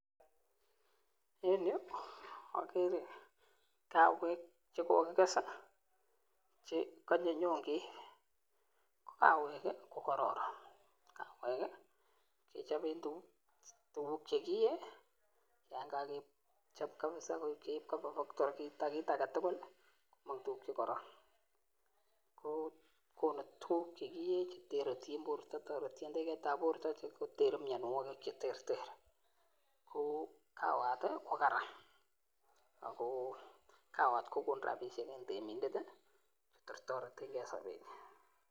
En yuu okere kawek chekokikes chekonye nyon keib, ko kawek ko kororon, kawek kechoben tukuk chekiyee yoon kokechob kabisa keib kobaa kiita kiit aketukul komong tukuk chekoron, kokonu tukuk chekiye chetiye borto, toretyin teketab borto sikoter mionwokik cheterter, ko kawat ko karan ak ko kawat kokonu rabishek en temindet kotoretenge en sobenyin.